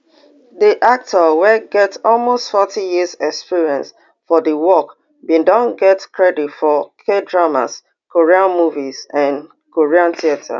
di actor wey get almost forty years experience for di work bin don get credits for kdramas korean movies and korean theatre